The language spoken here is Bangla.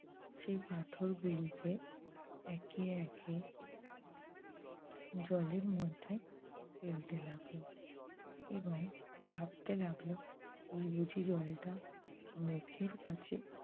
সে পাথর গুলিকে একে একে জলের মধ্যে ফেলতে লাগল এবং ভাবতে লাগল এই বুঝি জলটা মুখের কাছে